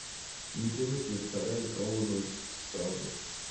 Ntie weche starehe kawuono tsavo